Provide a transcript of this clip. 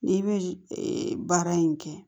N'i bɛ baara in kɛ